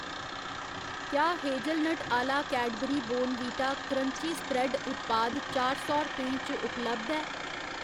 क्या हेजलनट आह्ला Cadbury Bournvita crunchy spread उत्पाद चार सौ रपेंऽ च उपलब्ध ऐ?